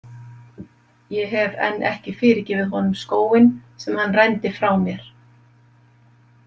Ég hef enn ekki fyrirgefið honum skóginn sem hann rændi frá mér.